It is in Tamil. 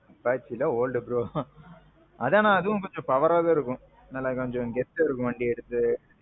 Apache எல்லாம் old bro. ஆனா அதுவும் கொஞ்ச powerஆ தான் இருக்கும். நல்ல கொஞ்சம் கெத்து இருக்கும் வண்டி எடுத்து.